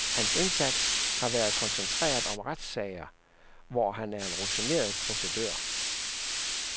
Hans indsats har været koncentreret om retssager, hvor han er en rutineret procedør.